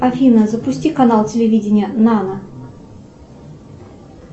афина запусти канал телевидения нана